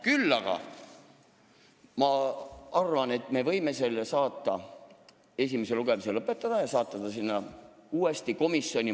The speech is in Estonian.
Küll aga ma arvan, et me võime eelnõu esimese lugemise lõpetada ja saata ta uuesti komisjoni.